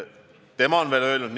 Muidugi on tähtis seda jälgida.